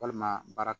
Walima baara